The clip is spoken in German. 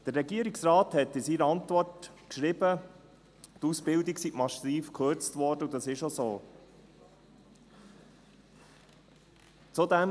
Der Regierungsrat hat in seiner Antwort geschrieben, die Ausbildung sei massiv gekürzt worden, und das ist auch so.